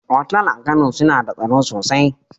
Otal a Kano suna da tsaro sosai.